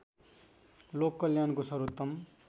लोक कल्याणको सर्वोत्तम